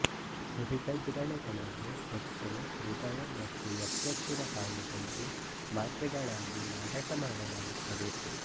ಹುರಿದ ಜಿರಳೆಗಳನ್ನು ಹೊಟ್ಟೆ ಹೃದಯ ಮತ್ತು ಯಕೃತ್ತಿನ ಕಾಯಿಲೆಗಳಿಗೆ ಮಾತ್ರೆಗಳಾಗಿ ಮಾರಾಟ ಮಾಡಲಾಗುತ್ತದೆ